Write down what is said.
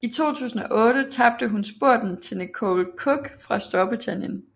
I 2008 tabte hun spurten til Nicole Cooke fra Storbritannien